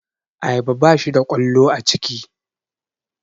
Ayaba bashi da ƙwallo a ciki